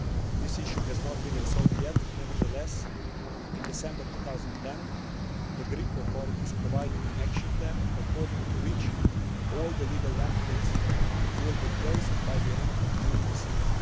This issue has not been resolved yet. Nevertheless, in December 2010, the Greek authorities provided an action plan according to which all the legal landfills will be closed by the end of June this year.